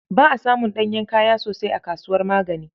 Ba asamun ɗanyen kaya sosai a kasuwar Magani